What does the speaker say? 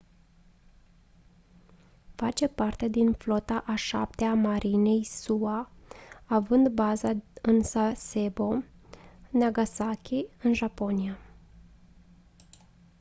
face parte din flota a șaptea a marinei sua având baza în sasebo nagasaki în japonia